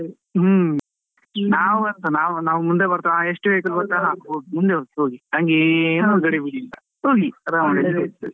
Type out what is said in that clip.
ಹ್ಮ್, ನಾವ್ ಎಂತ ನಾವ್ ನಾವ್ ಮುಂದೆ ಬರ್ತಾ ಎಷ್ಟೇ ಮುಂದೆ ಹೋಗಿ, ಹಂಗೇ ಹೋಗ್ಲಿ ಆರಾಮ .